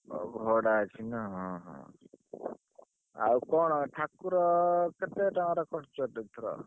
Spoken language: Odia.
ହଉ ଭଡା ଅଛି ନା ହଁ ହଁ ଆଉ କଣ ଠାକୁର କେତେ ଟଙ୍କାର କରିଛ ?